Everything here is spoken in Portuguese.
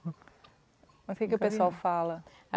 Mas o que que o pessoal fala?